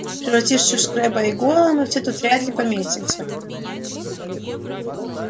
превратившись в крэбба и гойла мы все тут вряд ли поместимся